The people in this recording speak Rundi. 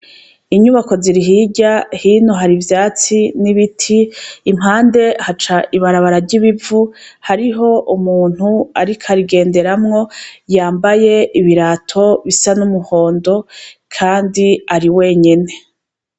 Inyubako ziri hirya, hino hari ivyatsi n'ibiti, impande haca ibarabara ry'ibivu ,hariho umuntu ariko arigenderamwo yambaye ibirato bisa n'umuhondo.